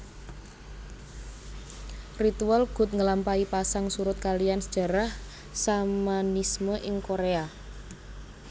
Ritual gut ngelampahi pasang surut kaliyan sejarah Shamanisme ing Korea